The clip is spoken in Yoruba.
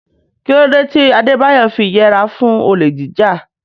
Kí ló dé tí Adebayo fi yẹra fún olè jíjà?